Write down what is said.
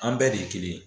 An bɛɛ de ye kelen ye